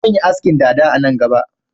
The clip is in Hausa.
Zan yi askin dada a nan gaba